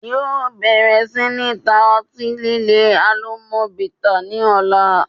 Yóò bẹ̀rẹ̀ sí ní ta ọtí líle 'Alomọ bitters' ni ọ̀la